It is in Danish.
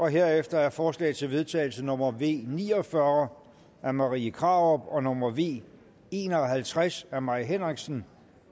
herefter er forslag til vedtagelse nummer v ni og fyrre af marie krarup og nummer v en og halvtreds af mai henriksen